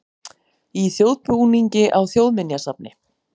Í þjóðbúningi á Þjóðminjasafni